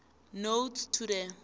notes to the